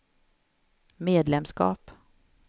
medlemskap